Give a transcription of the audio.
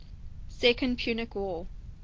second punic war